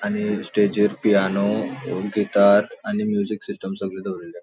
आणि स्टेजिर piano guitar आणि म्यूजिक सिस्टम सगळे दोरील्ले हा.